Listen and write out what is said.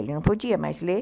Ele não podia mais ler.